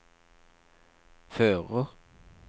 fører